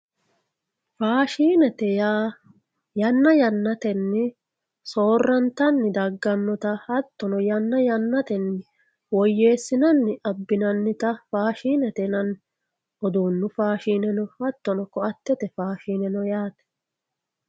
Faashinete yaa yanna yannatenni soorrantanni daggannota hattono yanna yannatenni woyyeessinanni abbinannita faashinete yinanni. Uduunnu faashineno hattono koattete faashine no yaate.